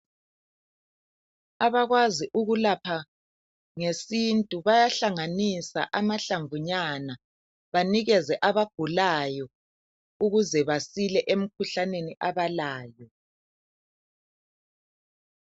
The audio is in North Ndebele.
Abakwazi ukulapha ngesintu bayahlanganisa amahlamvunyana, banikeze abagulayo ukuze basile emikhuhlaneni abalayo.